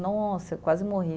Nossa, eu quase morri.